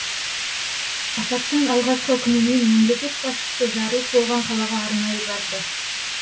апаттың алғашқы күнінен мемлекет басшысы жарылыс болған қалаға арнайы барды